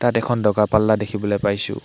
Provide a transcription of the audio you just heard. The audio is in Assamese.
ইয়াত এখন দগা-পাল্লা দেখিবলৈ পাইছোঁ।